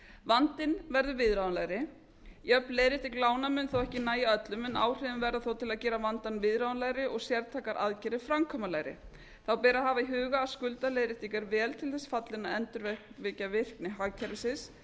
vandinn verður viðráðanlegri jöfn leiðrétting lána mun þó ekki nægja öllum en áhrif verða þó til að gera vandann viðráðanlegri og sértækar aðgerðir framkvæmanlegri þá ber að hafa í huga að skuldaleiðrétting er vel til þess fallin að endurvekja virkni hagkerfisins